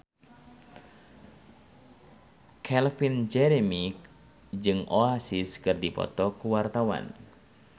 Calvin Jeremy jeung Oasis keur dipoto ku wartawan